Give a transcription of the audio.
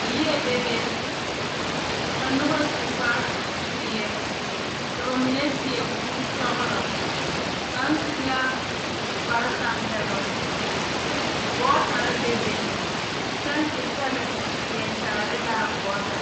Yie bebe ka noba su kpare ziiri ka bamine seɛ kuri sɔglɔ kaŋ su la kpare tanpɛloŋ gɔɔ tara bebe kyɛnse pele leɛ kyaare la a gɔɔta.